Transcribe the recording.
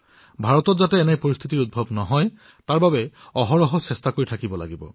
ভাৰতত যাতে এনে পৰিস্থিতিৰ উদ্ভৱ নহওক তাৰবাবে আমি নিৰন্তৰে প্ৰয়াস কৰিব লাগে